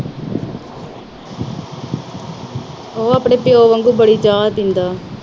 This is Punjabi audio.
ਉਹ ਆਪਣੇ ਪਿਉ ਵਾਂਗੂ ਬੜੀ ਚਾਹ ਪੀਂਦਾ।